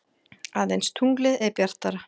Aðeins tunglið er bjartara.